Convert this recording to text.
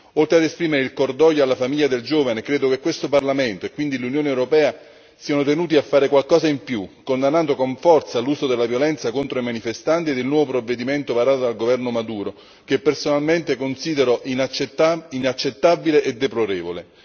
Oltre ad esprimere cordoglio alla famiglia del giovane, credo che questo Parlamento e quindi l'Unione europea siano tenuti a fare qualcosa di più, condannando con forza l'uso della violenza contro i manifestanti ed il nuovo provvedimento varato dal governo Maduro, che personalmente considero inaccettabile e deplorevole.